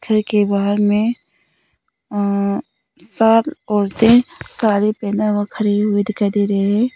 घर के बाहर में सात औरतें साडी पहना हुआ खड़ी हुई दिखाई दे रही हैं।